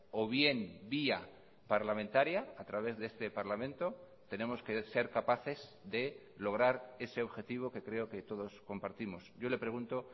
o bien vía parlamentaria a través de este parlamento tenemos que ser capaces de lograr ese objetivo que creo que todos compartimos yo le pregunto